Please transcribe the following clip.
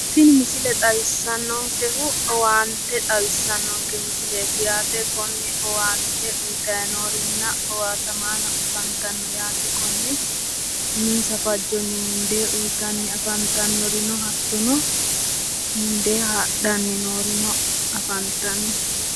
Tini misile xawissannonkehu owaante xawissannoke yaate, konne owaante uytanni noorinna owaatamaano afantanno yaate, konne uminsa fajjonni mundee uytanni afantannorino hattono, mundee hadhanni noorino afantanno